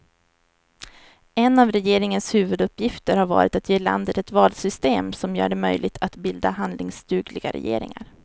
En av regeringens huvuduppgifter har varit att ge landet ett valsystem som gör det möjligt att bilda handlingsdugliga regeringar.